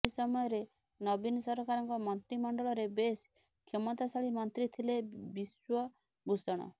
ଏହି ସମୟରେ ନବୀନ ସରକାରଙ୍କ ମନ୍ତ୍ରିମଣ୍ଡଳରେ ବେଶ୍ କ୍ଷମତାଶାଳୀ ମନ୍ତ୍ରୀ ଥିଲେ ବିଶ୍ବଭୂଷଣ